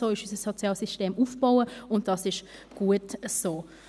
So ist unser Sozialsystem aufgebaut, und dies ist gut so.